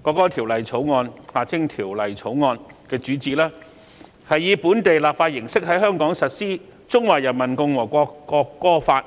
國歌條例草案》的主旨，是以本地立法形式在香港實施《中華人民共和國國歌法》。